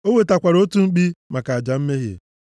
O wetakwara otu mkpi maka aja mmehie,